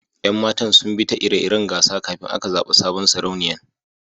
Yan matan zun bi ta ire-iren gasa kafin aka zaba sabon Sarauniyan.